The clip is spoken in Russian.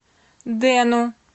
дэну